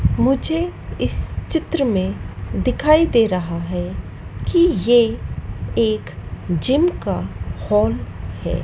मुझे इस चित्र में दिखाई दे रहा है कि ये एक जिम का हॉल है।